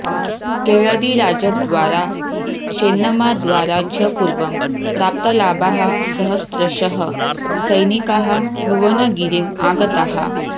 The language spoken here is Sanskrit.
केळदिराजद्वारा चेन्नम्माद्वारा च पूर्वं प्राप्तलाभाः सहस्रशः सैनिकाः भुवनगिरिम् आगताः